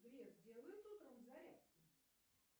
грек делает утром зарядку